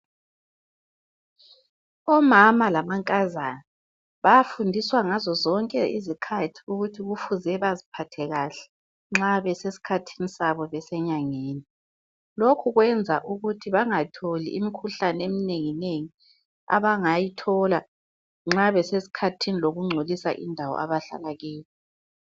Omama lamankazana bayafundiswa ngazozonke izikhathi ukuthi kufuze baziphathe njani nxa besesikhathini sabo besenyangeni lokhu wenza ukuthi bangatholi imikhuhlane eminengi nengi abangayithola nxa besesikhathini lokungcolisa indawo abahlala kiyo.